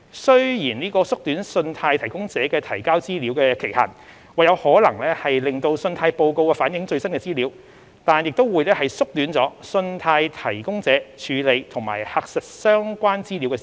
雖然縮短信貸提供者提交資料的期限或有可能使信貸報告反映最新的資料，但也會縮短了信貸提供者處理及核實相關資料的時間。